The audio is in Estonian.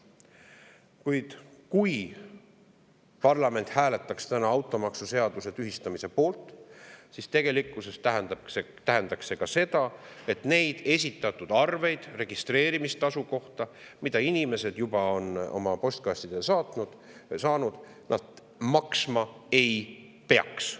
Kuid kui parlament hääletaks täna automaksuseaduse tühistamise poolt, siis tegelikkuses tähendaks see ka seda, et neid registreerimistasu arveid, mille inimesed juba on oma postkastidesse saanud, nad maksma ei peaks.